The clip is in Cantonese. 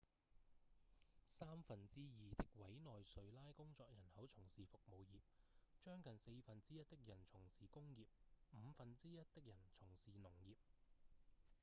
三分之二的委內瑞拉工作人口從事服務業將近四分之一的人從事工業五分之一的人從事農業